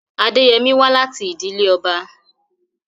Adeyemi wá láti ìdílé ọba.